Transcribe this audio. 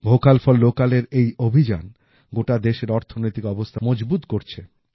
vocal for local এর এই অভিযান গোটা দেশের অর্থনৈতিক অবস্থা মজবুত করছে